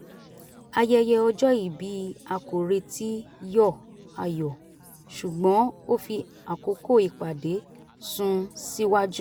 ayẹyẹ ọjọ́ ìbí a kò retí yọ ayọ̀ ṣùgbọ́n ó fi àkókò ìpàdé sun síwájú